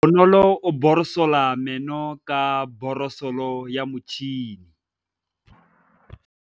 Bonolô o borosola meno ka borosolo ya motšhine.